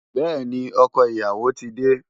Bẹ́ẹ̀ni, ọkọ ìyàwó ti dé.